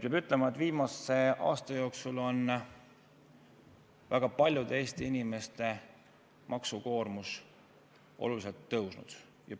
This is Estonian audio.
Peab ütlema, et viimase aasta jooksul on väga paljude Eesti inimeste maksukoormus oluliselt tõusnud.